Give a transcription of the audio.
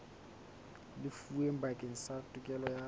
lefuweng bakeng sa tokelo ya